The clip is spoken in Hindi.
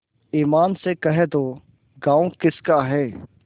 ईमान से कह दो गॉँव किसका है